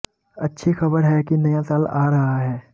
अच्छी खबर है कि नया साल आ रहा है